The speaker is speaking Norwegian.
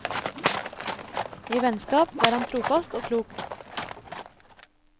I vennskap var han trofast og klok.